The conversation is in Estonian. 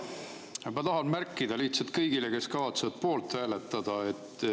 Jaa, ma tahan märkida lihtsalt kõigile, kes kavatsevad poolt hääletada.